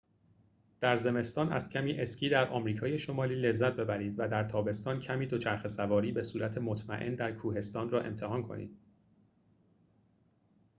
در زمستان از کمی اسکی در آمریکای شمالی لذت ببرید و در تابستان کمی دوچرخه‌سواری بصورت مطمئن در کوهستان را امتحان کنید